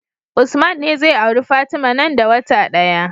Usman ne zai auri fatima nan da wata daya